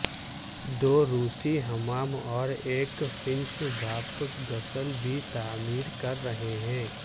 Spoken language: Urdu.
دو روسی حمام اور ایک فننش بھاپ غسل بھی تعمیر کر رہے ہیں